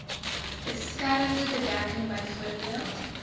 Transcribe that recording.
beskermende bedekking bv